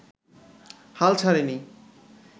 হাল ছাড়েনি